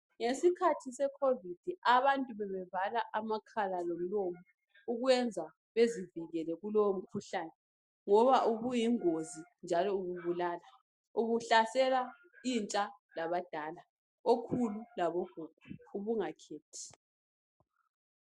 Ngesikhathi sekhovidi abantu bebevala amakhala lomlomo ukwenza bezivikele kulowo mkhuhlane ngoba ubuyingozi njalo ububulala, ubuhlasela intsha labadala okhulu labo gogo ubungakhethi.